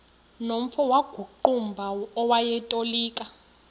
nomfo wakuqumbu owayetolika